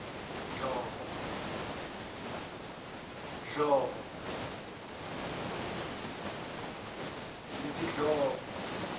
dhlomo